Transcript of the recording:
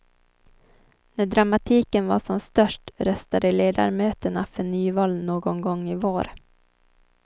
När dramatiken var som störst röstade ledamöterna för nyval någon gång i vår.